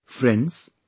Friends,